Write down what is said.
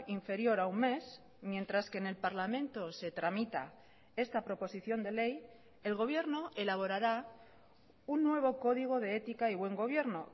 inferior a un mes mientras que en el parlamento se tramita esta proposición de ley el gobierno elaborará un nuevo código de ética y buen gobierno